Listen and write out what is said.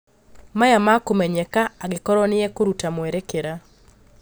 Maya makũmenyeka angĩkorwo nĩekũruta mwerekera